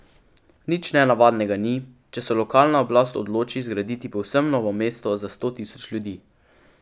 Nič nenavadnega ni, če se lokalna oblast odloči zgraditi povsem novo mesto za sto tisoč ljudi.